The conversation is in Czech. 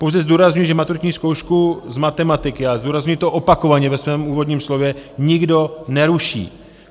Pouze zdůrazňuji, že maturitní zkoušku z matematiky, a zdůrazňuji to opakovaně ve svém úvodním slově, nikdo neruší.